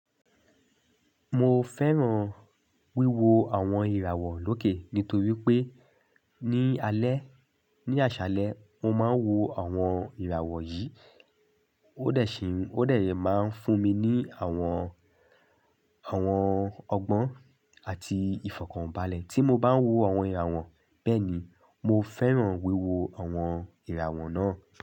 Mo fẹ́ràn wíwo àwọn ìràwọ̀ lókè nítorí pé ní alẹ́, ní àṣálẹ́ mo máa ń wo àwọn ìràwọ̀ yìí ó dẹ̀ síi, ó dẹ̀ yé máa ń fún mi ní àwọn, àwọn ọgbọ́n àti ìfọ̀kànbalẹ̀ tí mo bá ń wo àwọn ìràwọ̀ bẹ́ẹ̀ ni. Mo fẹ́ràn wíwo àwọn ìràwọ̀ náà.